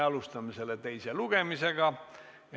Alustame selle teist lugemist.